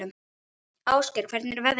Ásgeir, hvernig er veðrið?